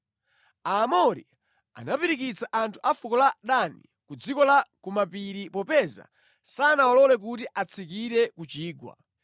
Aamori anapirikitsira anthu a fuko la Dani ku dziko la ku mapiri popeza sanawalole kuti atsikire ku chigwa.